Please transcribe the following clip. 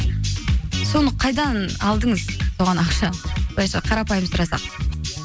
соны қайдан алдыңыз соған ақша былайша қарапайым сұрасақ